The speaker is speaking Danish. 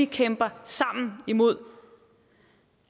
kæmper imod